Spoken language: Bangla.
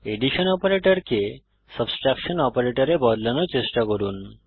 এডিশন অপারেটরকে সাবট্রেকশন অপারেটরে বদলানোর চেষ্টা করুন